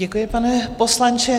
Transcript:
Děkuji, pane poslanče.